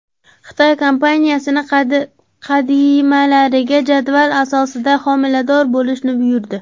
Xitoy kompaniyasi xodimalariga jadval asosida homilador bo‘lishni buyurdi .